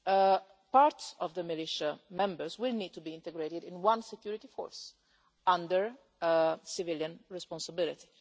Some of the militia members will need to be integrated in one security force under civilian responsibility.